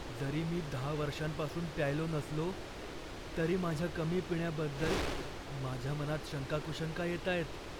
जरी मी दहा वर्षांपासून प्यायलो नसलो, तरी माझ्या कमी पिण्याबद्दल माझ्या मनात शंकाकुशंका येतायत.